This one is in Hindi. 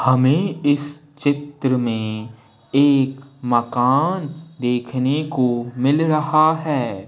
हमें इस चित्र में एक मकान देखने को मिल रहा है।